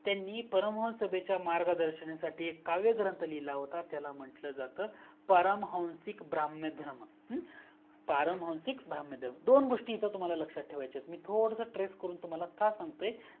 त्यांनी परम हंस सभेच्या मार्गदर्शनासाठी एक काव्य ग्रंथ लिहिला होता त्याला म्हंटलं जातं परमहानसिक ब्रम्हयाधर्म, परमहानसिक ब्रम्हयाधर्म दोन गोस्टी तुम्हाला येथे लक्षात ठेवायच्या आहेत मी तुम्हाला थोडासा ट्रेस्स करून का सांगतोय